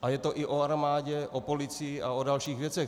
A je to i o armádě, o policii a o dalších věcech.